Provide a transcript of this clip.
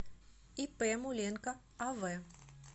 ип муленко ав